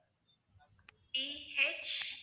DH